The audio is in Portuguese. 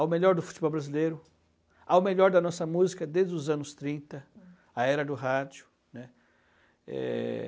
ao melhor do futebol brasileiro, ao melhor da nossa música desde os anos trinta, a era do rádio. É...